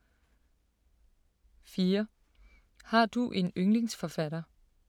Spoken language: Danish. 4) Har du en yndlingsforfatter?